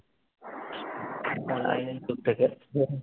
on line এর স্যুটকেসের